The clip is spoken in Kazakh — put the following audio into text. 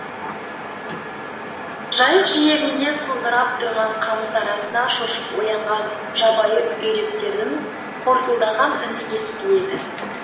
жайық жиегінде сылдырап тұрған қамыс арасынан шошып оянған жабайы үйректердің қортылдаған үні естіледі